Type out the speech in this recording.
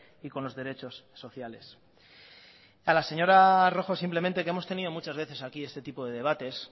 y con los derechos sociales a la señora rojo simplemente que hemos tenido muchas veces aquí este tipo de debates